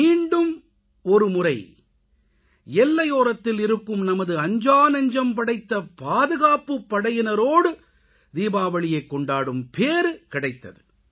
மீண்டும் ஒருமுறை எல்லையோரத்தில் இருக்கும் நமது அஞ்சாநெஞ்சம் படைத்த பாதுகாப்புப்படையினரோடு தீபாவளியைக் கொண்டாடும் பேறு கிடைத்தது